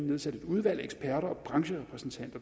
nedsat et udvalg af eksperter og brancherepræsentanter